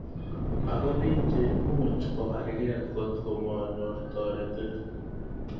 Ako bik cheimuch kobargei kotko manyoru toretet.